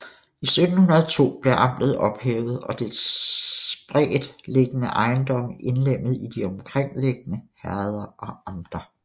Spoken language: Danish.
I 1702 blev amtet ophævet og og dets spredt liggende ejendomme indlemmet i de omkringliggende herrder og amter